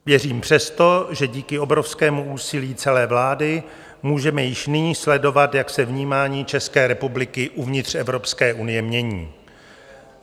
Věřím přesto, že díky obrovskému úsilí celé vlády můžeme již nyní sledovat, jak se vnímání České republiky uvnitř Evropské unie mění.